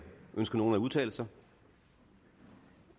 ønsker nogen at udtale sig